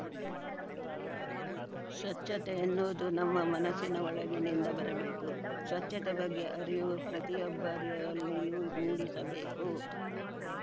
ಸ್ವಚ್ಚತೆ ಎನ್ನುವುದು ನಮ್ಮ ಮನಸ್ಸಿನ ಒಳಗಿನಿಂದ ಬರಬೇಕು ಸ್ವಚ್ಚತೆ ಬಗ್ಗೆ ಅರಿವು ಪ್ರತಿಯೊಬ್ಬರಲ್ಲಿಯೂ ಮೂಡಿಸಬೇಕು